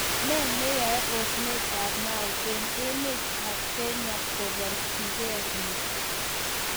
ne neyai osnetap Mau en emet ap Kenya kobirchige piik?